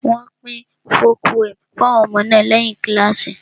Wọ́n pín folk poems fún àwọn ọmọ náà lẹ́yìn kíláàsì